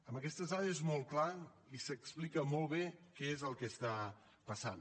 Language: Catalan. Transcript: amb aquestes dades és molt clar i s’explica molt bé què és el que està passant